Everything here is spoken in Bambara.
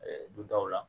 dutaw la